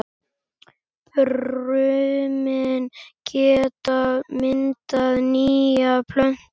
Brumin geta myndað nýja plöntu.